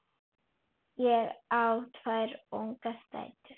Ég á tvær ungar dætur.